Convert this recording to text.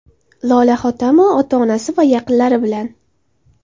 Lola Hotamova ota-onasi va yaqinlari bilan.